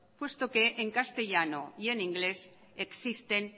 puesto que en castellano y en inglés existen